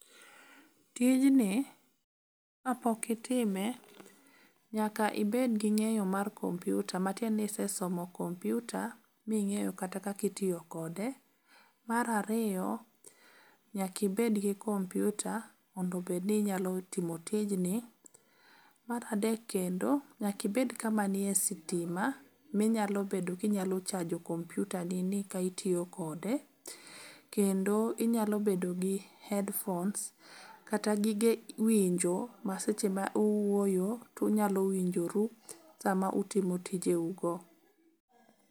Tijni kapok itime nyaka ibedgi ng'eyo mar kompiuta matiende ni isesomo kompiuta ming'eyo kata kaka itiyo kode. Mar ariyo, nyakibedgi kompiuta mondo obed ni inyalo timo tijni. Mar adek kendo, nyakibed kama nie sitima minyalo bedo kinyalo chajo kompiutanini ka itiyokode. Kendo inyalo bedo gi headphones kata gige winjo ma seche ma owuoyo tunyalo winjoru sama utimo tijeugo.